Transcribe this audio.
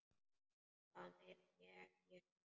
Hvað meira get ég sagt?